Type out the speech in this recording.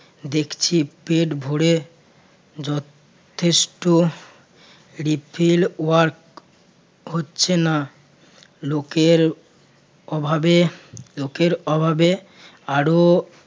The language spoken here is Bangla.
দেখছি পেট ভরে যথেষ্ট refill work হচ্ছে নাG লোকের অভাবে লোকের অভাবে আরো